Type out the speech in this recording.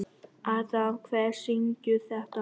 Adam, hver syngur þetta lag?